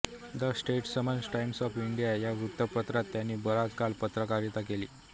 the Statesman Times of India या वृत्तपत्रांत त्यांनी बराच काळ पत्रकारिता केली